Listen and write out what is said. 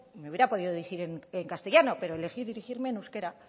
me hubiera podido dirigir en castellano pero elegí dirigirme en euskera